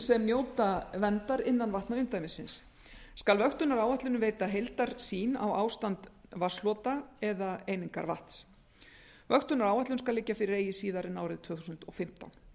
sem njóta verndar innan vatnaumdæmisins skal vöktunaráætlunin veita heildarsýn á ástand vatnshlota eða einingarvatns vöktunaráætlun skal liggja fyrir eigi síðar en árið tvö þúsund og fimmtán